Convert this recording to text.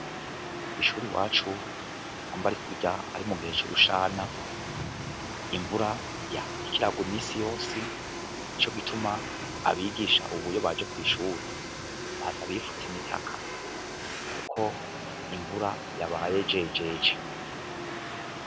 Kw'ishura i wacu amba ari kurya ari mu gihe c'urushana imvura yaikiragwa imisi yosi ni co gituma abigisha ubuyo baje kw'ishura batabifutse imitaka, kuko imvura yabaye jejeje.